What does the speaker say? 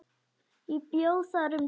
Ég bjó þar um tíma.